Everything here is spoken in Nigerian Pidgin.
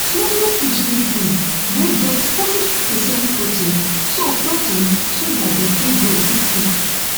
small small fish need food wey get fourty percent protein so protein so that dem fit grow quick quick